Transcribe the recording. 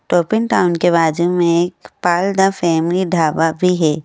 Top n Town के बाजू में एक पल द फैमिली ढाबा भी है।